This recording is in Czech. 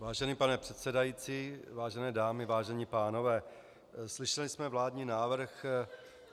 Vážený pane předsedající, vážené dámy, vážení pánové, slyšeli jsme vládní návrh.